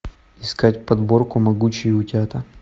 искать подборку могучие утята